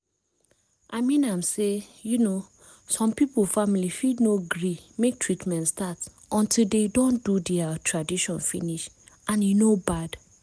i mean am say um some people family fit no gree make treatment start until de don do dea tradition finish and e no bad